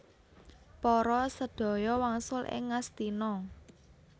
Para sadaya wangsul ing Ngastina